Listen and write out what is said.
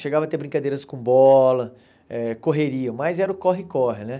Chegava a ter brincadeiras com bola, eh correria, mas era o corre-corre, né?